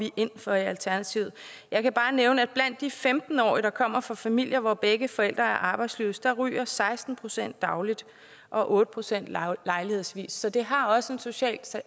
ind for i alternativet jeg kan bare nævne at blandt de femten årige der kommer fra familier hvor begge forældre er arbejdsløse ryger seksten procent dagligt og otte procent lejlighedsvis så det har også en social